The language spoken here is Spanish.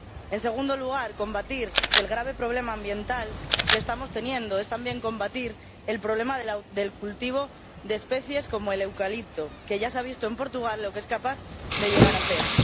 En segundo lugar, combatir el grave problema ambiental que estamos teniendo es también combatir el problema del cultivo de especies como el eucalipto, que ya se ha visto en Portugal lo que es capaz de llegar a hacer.